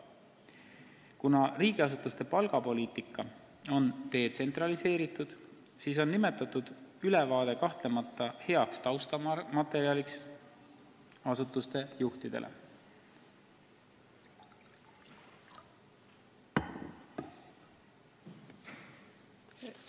Kuna riigiasutuste palgapoliitika on detsentraliseeritud, siis on see ülevaade kahtlemata heaks taustamaterjaliks asutuste juhtidele.